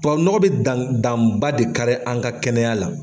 Tubabu nɔgɔ bɛ dan danba de kari an ka kɛnɛya la.